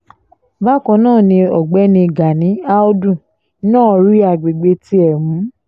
bákan náà ni ọ̀gbẹ́ni gani àùdù náà rí àgbègbè tiẹ̀ mú